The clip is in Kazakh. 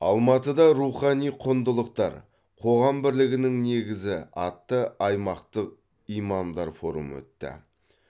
алматыда рухани құндылықтар қоғам бірлігінің негізі атты аймақтық имамдар форумы өтті